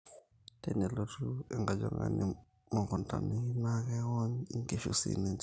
tenelotu enkojongani mukuntani naa kewony inkishu sii ninche